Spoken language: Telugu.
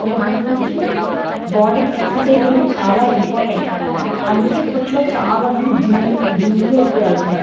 ఒక మంచి బాడీ కి ఎక్సర్సిస్ అనేది చాలా ఇంపార్టెంట్ అందుకే ఇప్పట్లో చాలామంది జిమ్ కి ఎక్కువ వెళ్తున్నారు.